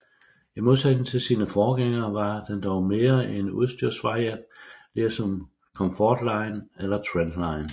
I modsætning til sine forgængere var den dog mere en udstyrsvariant ligesom Comfortline eller Trendline